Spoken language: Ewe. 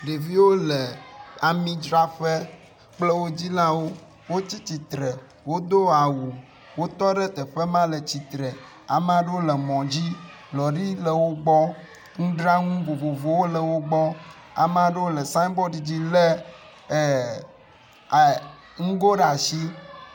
Ɖevio le amidzraƒe kple wo dzilawo, wotsi tsitre, wodo awu. Wotɔ ɖe teƒe ma le tsitre, ameaɖewo le mɔ dzi, lɔri le wogbɔ, nudranu vovovowo le wogbɔ. Ameaɖewo le siggn board dzi le ɛɛ a ŋgo ɖe asi.